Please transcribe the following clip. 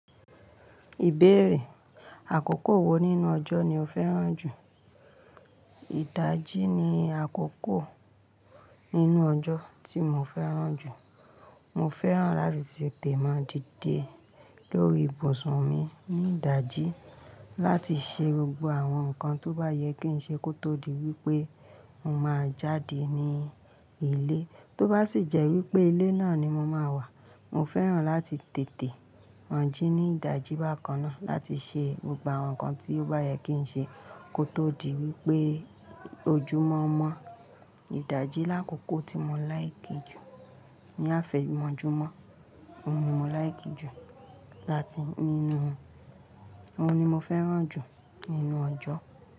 Ìbéèrè, àkókò wo nínú ọjọ́ ni o fẹ́ràn jù? Ìdajì ni àkókò nínú ọjọ́ tí mo fẹ́ràn jù. Mo fẹ́ràn láti tètè máa dìde lórí ibùsùn mi ní ìdajì láti ṣe gbogbo àwọn nǹkan tó bá yẹ kí n ṣe kó tó di wípé mo máa jáde ní ilé. Tó bá sì jẹ́ wípé ilé náà ni mo máa wà, mo fẹ́ràn láti tètè ma jí ní ìdajì bákan náà láti ṣe gbogbo àwọn nǹkan tí ó bá yẹ kí n ṣe kó tó di wípé ojúmọ́mọ́. Ìdajì làkókò tí mo láìkijù ní ààfẹ̀yìnmọ́júmọ́, òun ni mo láìkijù láti nínú, òun ni mo fẹ́ràn jù nínú ọjọ́.